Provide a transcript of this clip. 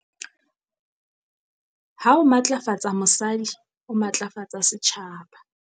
Ha o matlafatsa mosadi, o matlafatsa setjhaba.